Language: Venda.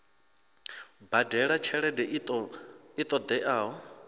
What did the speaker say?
badela tshelede i ṱo ḓeaho